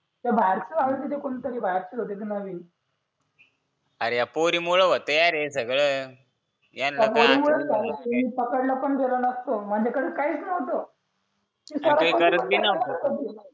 ते बाहेरच कोणीतरी बाहेरचं होतं नवीन अरे या पोरीमुळे होतं रे सगळ्यांना पोरीमुळेच झालं मी पकडलो पण गेलो नसतो माझ्याकडे काहीच नव्हतं करू पण नको